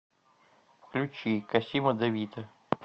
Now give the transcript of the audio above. включи косима де вито